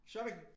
Shopping